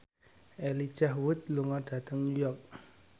Elijah Wood lunga dhateng New York